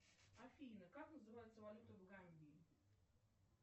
афина как называется валюта в гамбии